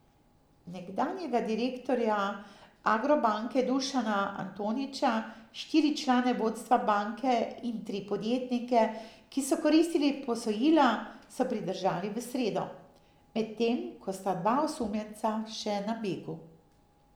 Nekdanjega direktorja Agrobanke Dušana Antonića, štiri člane vodstva banke in tri podjetnike, ki so koristili posojila, so pridržali v sredo, medtem ko sta dva osumljenca še na begu.